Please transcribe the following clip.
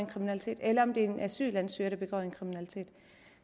kriminalitet eller om det er en asylansøger det begår kriminalitet